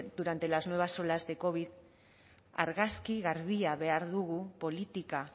durante las nuevas olas de covid argazki garbia behar dugu politika